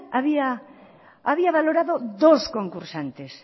había valorado dos concursantes